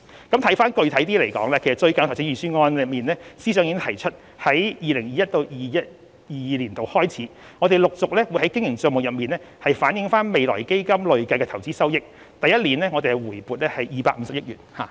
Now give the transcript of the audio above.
具體一點來說，司長最近已在預算案中提出由 2021-2022 年度開始，陸續在經營帳目中反映未來基金的累計投資收益，並在第一年回撥250億元。